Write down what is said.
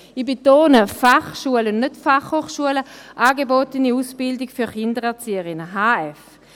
Ich betone: schulen, nicht Fachschulen, mit der angebotenen Ausbildung für Kindererzieherinnen HF.